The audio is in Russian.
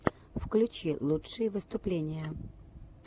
включи лучшие выступления